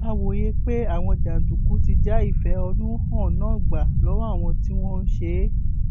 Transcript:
a wòye pé àwọn jàǹdùkú ti já ìfẹhónú hàn náà gbà lọwọ àwọn tí wọn ń ṣe é